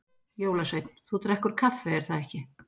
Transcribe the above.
Jólasveinn: Þú drekkur kaffi er það ekki?